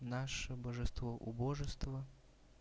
наше божество убожество